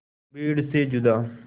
भीड़ से जुदा